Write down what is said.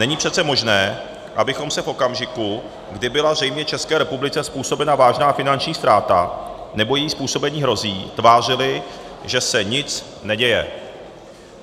Není přece možné, abychom se v okamžiku, kdy byla zřejmě České republice způsobena vážná finanční ztráta nebo jí způsobení hrozí, tvářili, že se nic neděje.